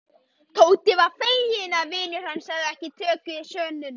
Tóti var feginn að vinur hans hafði tekið sönsum.